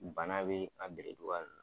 Bana bɛ a beree cogoya dɔ.